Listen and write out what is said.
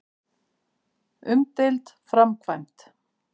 Umdeild framkvæmd.